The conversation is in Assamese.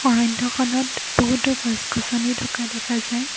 অৰণ্যখনত বহুতো গছ গছনি থকা দেখা যায়।